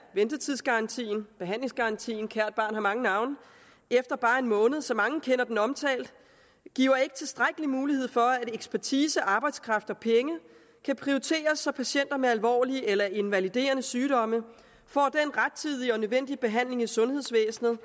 ventetidsgarantien behandlingsgarantien kært barn har mange navne efter bare en måned som mange kender den omtalt giver ikke tilstrækkelig mulighed for at ekspertise arbejdskraft og penge kan prioriteres så patienter med alvorlige eller invaliderende sygdomme får den rettidige og nødvendige behandling i sundhedsvæsenet